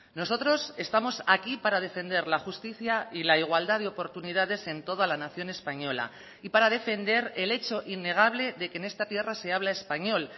nosotros estamos aquí para defender la justicia y la igualdad de oportunidades en toda la nación española y para defender el hecho innegable de que en esta tierra se habla español